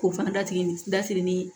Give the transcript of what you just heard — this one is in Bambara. K'o fana datugu ni datigini